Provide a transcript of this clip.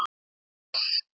Finnbjörn, læstu útidyrunum.